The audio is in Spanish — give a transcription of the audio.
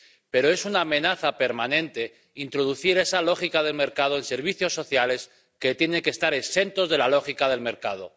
Pero es una amenaza permanente introducir esa lógica del mercado en servicios sociales que tienen que estar exentos de la lógica del mercado.